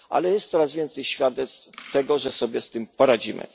Ale jest coraz więcej świadectw tego, że sobie z tym poradzimy.